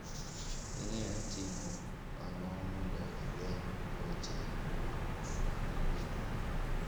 Inyalo timo ang'o mondo igeng' tuuwohe kwuom mako gwen gi?